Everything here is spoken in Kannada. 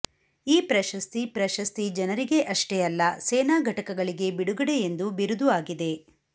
ಈ ಪ್ರಶಸ್ತಿ ಪ್ರಶಸ್ತಿ ಜನರಿಗೆ ಅಷ್ಟೇ ಅಲ್ಲ ಸೇನಾ ಘಟಕಗಳಿಗೆ ಬಿಡುಗಡೆ ಎಂದು ಬಿರುದು ಆಗಿದೆ